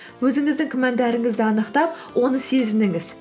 өзіңіздің күмәндарыңызды анықтап оны сезініңіз